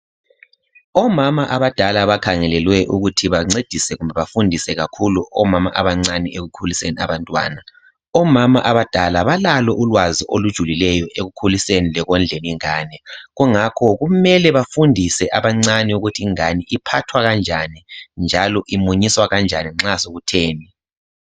Omama abadala abakhangelelwe ukuthi bancedise kumbe bafundise kakhulu omama obancane ekukhulisenie abantwana. Omama abadala balalo ulwazi olujulileyo ekukhuliseni lekondleni ingane kungakho kumele bafundise abancani ukuthi ingane iphathwa kanjani njalo imunyiswa kanjani nxa sokutheni.